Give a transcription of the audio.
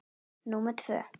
númer tvö.